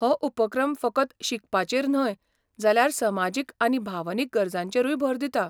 हो उपक्रम फकत शिकपाचेर न्हय जाल्यार समाजीक आनी भावनीक गरजांचेरूय भर दिता.